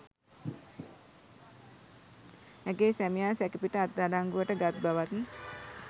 ඇගේ සැමියා සැකපිට අත්අඩංගුවට ගත් බවත්